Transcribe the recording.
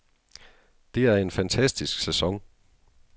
Det er en fantastisk sæson.